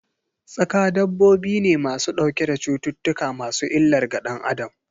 Tsaƙa dabbobi ne ma su ɗauke da cuttutuka masu illar ga danAdam.